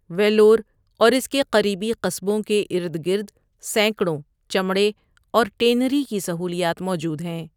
ویلور اور اس کے قریبی قصبوں کے ارد گرد سینکڑوں چمڑے اور ٹینری کی سہولیات موجود ہیں۔